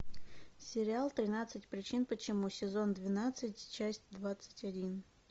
сериал тринадцать причин почему сезон двенадцать часть двадцать один